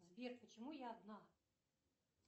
сбер почему я одна